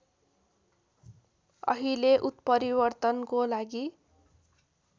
अहिले उत्परिवर्तनको लागि